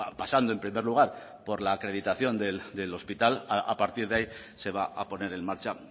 pasando en primer lugar por la acreditación del hospital a partir de ahí se va a poner en marcha